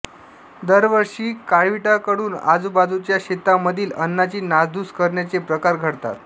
दरवर्षी काळविटांकडून आजूबाजूच्या शेतांमधील अन्नाची नासधूस करण्याचे प्रकार घडतात